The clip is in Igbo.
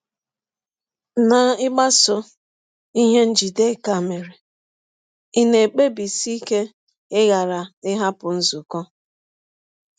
N’ịgbasọ ihe Njideka mere, ị̀ na - ekpebisi ike ịghara ịhapụ nzụkọ?